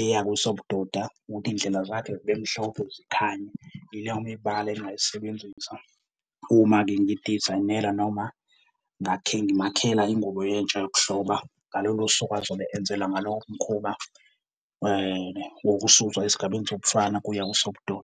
eya kwesobudoda ukuthi iindlela zakhe zibe mhlophe, zikhanye. Ileyo mibala engingayisebenzisa uma-ke ngidizayinela noma ngimakhela ingubo yentsha yokuhloba ngalolo suku azobe enzela ngalo umkhuba, wokususwa esigabeni sobufana kuya kwesobudoda.